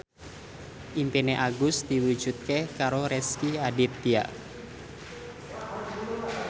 impine Agus diwujudke karo Rezky Aditya